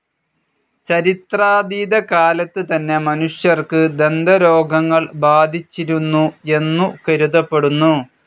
ചരിത്രാതീതകാലത്ത് തന്നെ മനുഷ്യർക്ക് ദന്തരോഗങ്ങൾ ബാധിച്ചിരുന്നു എന്നു കരുതപ്പെടുന്നു.